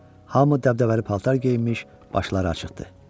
Hamı dəbdəbəli paltar geyinmiş, başları açıqdır.